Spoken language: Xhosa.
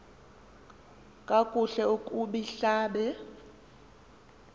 kakuhle kub ihlab